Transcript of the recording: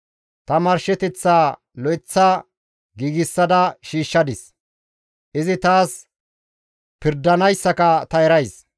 Ta marsheteththaa lo7eththa giigsada shiishshadis, izi taas pirdanayssaka ta erays.